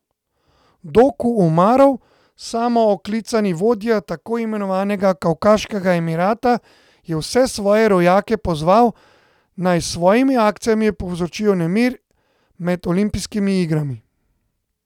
Doku Umarov, samooklicani vodja tako imenovanega Kavkaškega emirata, je vse svoje rojake pozval, naj s svojimi akcijami povzročijo nemir med olimpijskimi igrami.